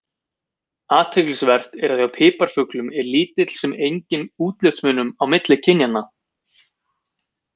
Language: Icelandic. Athyglisvert er að hjá piparfuglum er lítill sem enginn útlitsmunur á milli kynjanna.